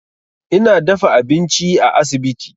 Ina dafa abinci a asibiti.